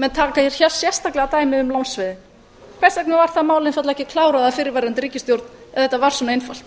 menn taka hér sérstaklega dæmi um lánsveðin hvers vegna var það mál einfaldlega ekki klárað af fyrrverandi ríkisstjórn ef þetta var svona einfalt